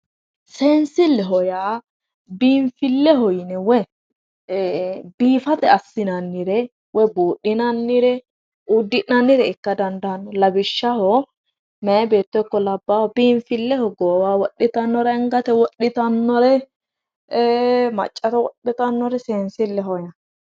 Seensileho yaa biinfileho yinne woyyi biifisate yinne assinannire woyi budhinannire woyi uddi'nannire ikka dandaano lawishshaho mayi beetto ikko labbahu biinfileho goowaho wodhittano woyi angate wodhittanore e"e maccate wodhittanore seensileho yinnanni.